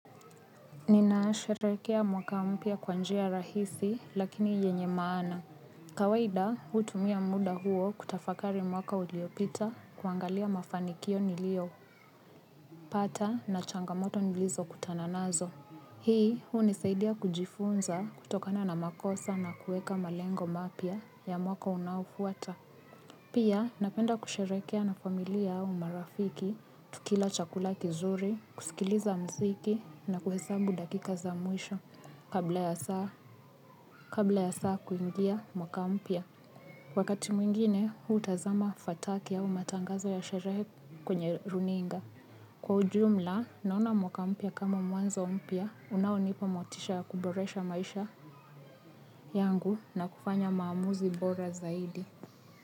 Ninasherehekea mwaka mpya kwa njia rahisi lakini yenye maana. Kawaida hutumia muda huo kutafakari mwaka uliopita kuangalia mafanikio niliyo pata na changamoto nilizokutana nazo. Hii hunisaidia kujifunza kutokana na makosa na kuweka malengo mapya ya mwaka unaofuata. Pia napenda kusherehekea na familia au marafiki, tukila chakula kizuri, kusikiliza mziki na kuhesabu dakika za mwisho kabla ya saa kuingia mwaka mpya. Wakati mwingine, hutazama fataki au matangazo ya sherehe kwenye runinga. Kwa ujumla, naona mwaka mpya kama mwanzo mpya, unaonipa motisha ya kuboresha maisha yangu na kufanya maamuzi bora zaidi.